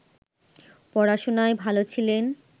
পড়াশোনায় ভালো ছিলেন